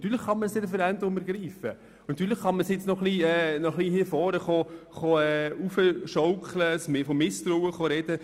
Natürlich kann man das Referendum ergreifen und das nun hier vorne noch ein wenig aufschaukeln und von Misstrauen sprechen.